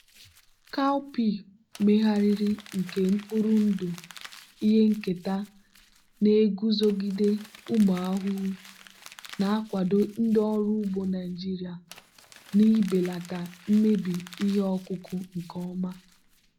cowpea megharịrị nke mkpụrụ ndụ ihe nketa na-eguzogide ụmụ ahụhụ na-akwado ndị ọrụ ugbo naijiria na ibelata mmebi ihe ọkụkụ nke ọma.